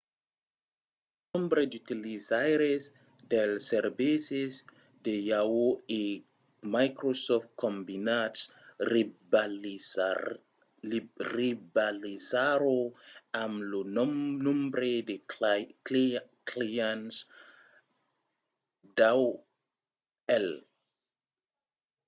lo nombre d'utilizaires dels servicis de yahoo! e microsoft combinats rivalizarà amb lo nombre de clients d'aol